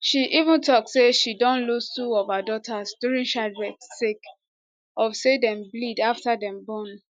she even tok say she don lose two of her daughters during childbirth sake of say dem bleed afta dem born